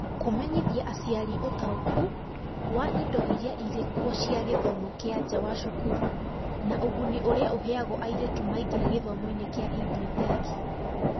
Kũmenyithia aciari ũtaũkũ wa indo iria irĩ kuo cia gĩthomo gĩa nja wa cukuru na ũguni ũrĩa ũheagwo airĩtu maingĩra gĩthomo-inĩ kĩa EdTech